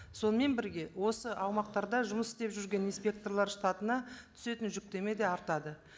сонымен бірге осы аумақтарда жұмыс істеп жүрген инстпекторлар штатына түсетін жүктеме де артады